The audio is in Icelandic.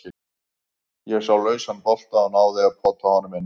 Ég sá lausan bolta og náði að pota honum inn.